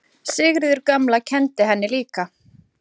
Sigríður gamla kenndi henni líka.